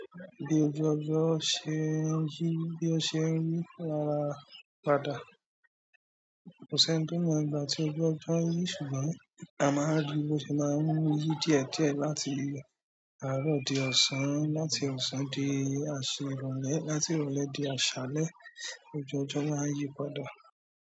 Ii ojú ọjọ́ ṣe ń yí bí o ṣe ń yí ara padà. Kò ṣe ń tó ni ìgbà tí ojú ọjọ́ ń yí ṣùgbọ́n a máa rí bí o ṣe máa ń yí dietẹ láti aro di ọ̀sán láti ọ̀sán di ìrọ̀lẹ́ láti ìrọ̀lẹ́ di àṣálẹ́ ojú ọjọ́ má ń yí padà.